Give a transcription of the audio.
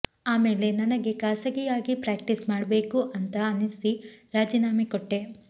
ಆಮೇಲೆ ನನಗೆ ಖಾಸಗಿಯಾಗಿ ಪ್ರಾಕ್ಟೀಸ್ ಮಾಡಬೇಕು ಅಂತ ಅನ್ನಿಸಿ ರಾಜೀನಾಮೆ ಕೊಟ್ಟೆ